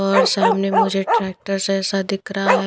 और सामने मुझे ट्रैक्टर से ऐसा दिख रहा है।